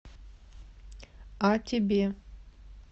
а тебе